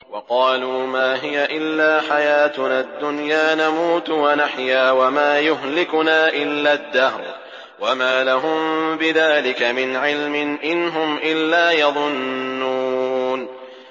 وَقَالُوا مَا هِيَ إِلَّا حَيَاتُنَا الدُّنْيَا نَمُوتُ وَنَحْيَا وَمَا يُهْلِكُنَا إِلَّا الدَّهْرُ ۚ وَمَا لَهُم بِذَٰلِكَ مِنْ عِلْمٍ ۖ إِنْ هُمْ إِلَّا يَظُنُّونَ